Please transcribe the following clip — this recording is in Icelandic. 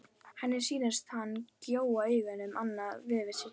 Henni sýnist hann gjóa augunum annað veifið til sín.